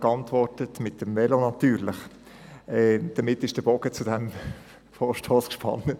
Ich habe geantwortet: «Mit dem Velo natürlich!» Damit ist der Bogen zu diesem Vorstoss gespannt, denke ich.